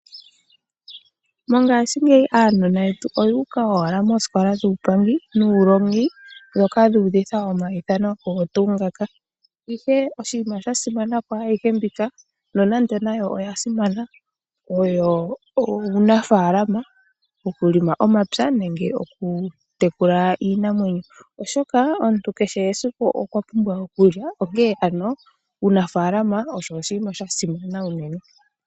Mongashingeyi aanona yetu oyuuka owala moosikola nuulongi nuupangi, dhoka dhuudhitha omaithano kehe tuu ngoka. Ihe oshinima sha simana kwaayihe mbika nonando nayo oya simana, oyo uunafaalama, oku lima omapya nenge oku tekula iinamwenyo, oshoka omuntu kehe esiku okwa pumbwa okulya, onkee ano uunafaalama osho oshinima sha simana unene.